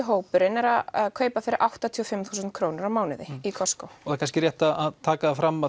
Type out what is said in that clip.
hópurinn er að kaupa fyrir áttatíu og fimm þúsund krónur á mánuði í Costco og það er kannski rétt að taka það fram